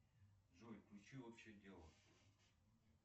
джой включи общее дело